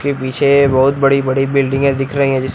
ये पीछे बहुत बड़ी बड़ी बिल्डिंगें दिख रही हैं जिस--